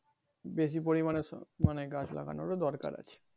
বেশি পরিমানে মানে গাছ লাগানোর ও দরকার আছে ।